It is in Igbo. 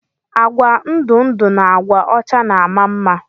Agwa ndụ ndụ na agwa ọcha na ama mma.